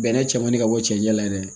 Bɛnɛ cɛmani ka bɔ cɛncɛn la dɛ